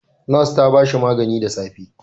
Nas ta ba shi magani da safe.